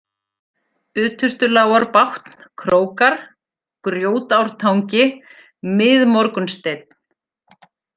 Utustulágarbátn, Krókar, Grjótártangi, Miðmorgunssteinn